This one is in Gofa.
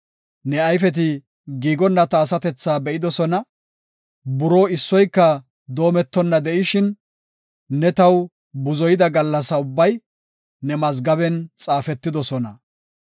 ne ayfeti giigonna ta asatethaa be7idosona. Buroo issoyka doometonna de7ishin, ne taw buzoyida gallasa ubbay ne mazgaben xaafetidosona.